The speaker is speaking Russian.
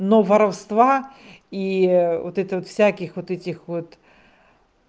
но воровства и вот это вот всяких вот этих вот